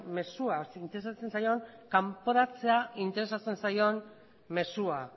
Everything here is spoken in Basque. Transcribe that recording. mezua interesatzen zaion kanporatzea interesatzen zaion mezua